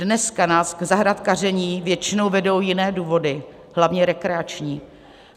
Dneska nás k zahrádkaření většinou vedou jiné důvody, hlavně rekreační.